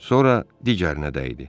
Sonra digərinə dəydi.